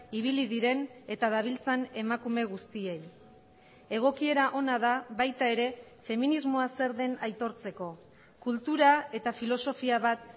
ibili diren eta dabiltzan emakume guztiei egokiera ona da baita ere feminismoa zer den aitortzeko kultura eta filosofia bat